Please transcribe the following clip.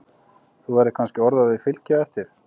Þú verður kannski orðaður við Fylki á eftir?